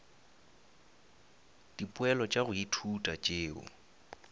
dipoelo tša go ithuta tšeo